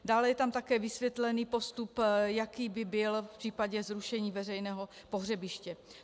Dále je tam také vysvětlený postup, jaký by byl v případě zrušení veřejného pohřebiště.